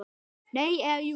Nei. eða jú!